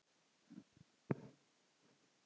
Hvíldu nú í friði.